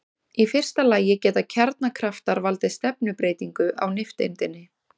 Í fyrsta lagi geta kjarnakraftar valdið stefnubreytingu á nifteindinni.